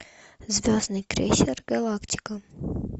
звездный крейсер галактика